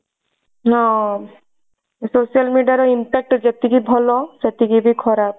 ହଁ social media ର impact ଟା ଯେତିକି ଭଲ ସେତିକି ବି ଖରାପ।